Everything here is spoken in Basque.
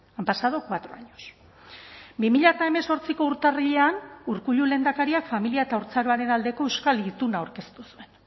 han pasado cuatro años bi mila hemezortziko urtarrilean urkullu lehendakariak familia eta haurtzaroaren aldeko euskal ituna aurkeztu zuen